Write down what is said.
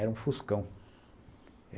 Era um Fuscão.